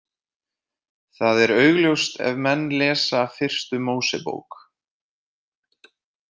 Það er augljóst ef menn lesa fyrstu Mósebók.